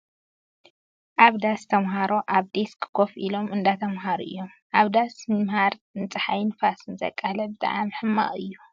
ኣብ ዳስ ተማሃሮ ኣብ ዴስክ ኮፍ ኢሎም እንዳተማሃሩ እዮም ። ኣብ ዳስ ምምሃር ንፀሓይን ንፋስን ዘቃልዕ ብጣዕሚ ሕማቅ እዩ ።